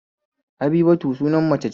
Habibatu sunar mace ce